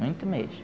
Muito mesmo.